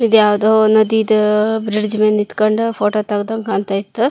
ಈದ್ ಯಾವದೋ ನದಿದ ಬ್ರಿಡ್ಜ್ ಮೇಲೆ ನಿಂತಕೊಂಡ್ ಫೋಟೋ ತೆಗೆದಂಗೆ ಕಾಣತ್ತಾ ಇತ್ತು.